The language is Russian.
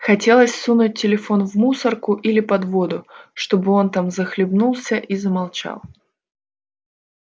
хотелось сунуть телефон в мусорку или под воду чтобы он там захлебнулся и замолчал